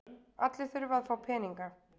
Allir þurfa að fá peninga.